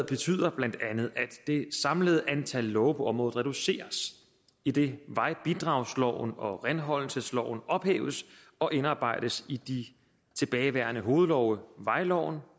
betyder bla at det samlede antal love på området reduceres idet vejbidragsloven og renholdelsesloven ophæves og indarbejdes i de tilbageværende hovedlove vejloven